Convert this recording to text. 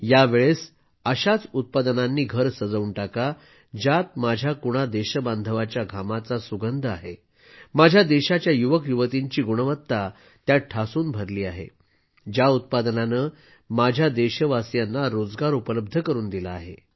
यावेळेस अशाच उत्पादनानं घर सजवून टाका ज्यात माझ्या कुणा देशबांधवाच्या घामाचा सुगंध आहे माझ्या देशाच्या युवकयुवतीची गुणवत्ता ठासून भरली आहे ज्या उत्पादनानं माझ्या देशवासीयांना रोजगार उपलब्ध करून दिला आहे